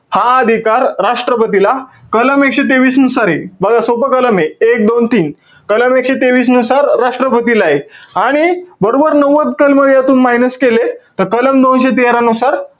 हा अधिकार राष्ट्रपतीला कलम एकशे तेवीस नुसारे. बघा, सोपं कलमे, एक, दोन, तीन. कलम एकशे तेवीसनुसार राष्ट्रपतीलाय. आणि बरोबर नव्वद कलमं यातून minus केले. तर कलम दोनशे तेरा नुसार,